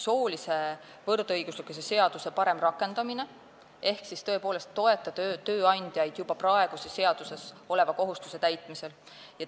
Esiteks, soolise võrdõiguslikkuse seaduse parem rakendamine ehk tõepoolest tuleb toetada tööandjaid juba praeguses seaduses oleva kohustuse täitmisel.